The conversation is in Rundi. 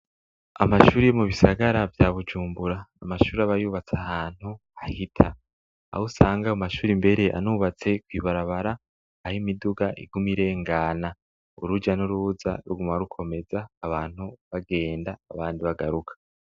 Amashuri mu bisagara bya Bujumbura amashuri abayubatse ahantu ahita aho usanga ayo mashuri mbere anubatse kuibarabara aho imiduga igumi irengana urujya n'urubuza rgumma rukomeza abantu bagenda abandi bagaruka.